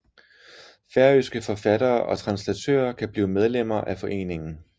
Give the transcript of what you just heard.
Færøske forfattere og translatører kan blive medlemmer af foreningen